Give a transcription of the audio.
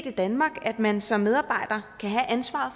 i danmark at man som medarbejder kan have ansvaret